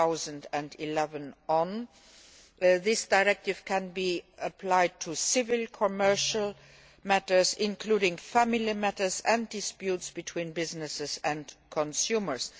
2011. This directive can be applied to civil and commercial matters, including family matters and disputes between businesses and consumers.